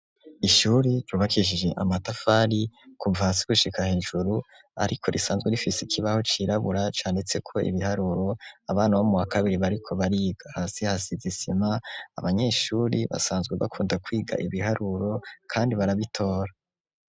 ishuri ryubakishije amatafari kuva hasi gushika hejuru ariko risanzwe rifise ikibaho cirabura candetseko ibiharuro abana bo mu wa kabiri bariko bariga hasi hasizisima abanyeshuri basanzwe bakunda kwiga ibiharuro kandi barabitora.